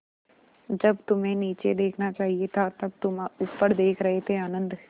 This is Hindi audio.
जब तुम्हें नीचे देखना चाहिए था तब तुम ऊपर देख रहे थे आनन्द